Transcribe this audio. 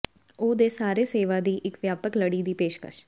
ਉਹ ਦੇ ਸਾਰੇ ਸੇਵਾ ਦੀ ਇੱਕ ਵਿਆਪਕ ਲੜੀ ਦੀ ਪੇਸ਼ਕਸ਼